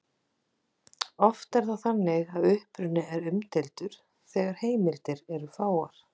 Oft er það þannig að uppruni er umdeildur þegar heimildir eru fáar.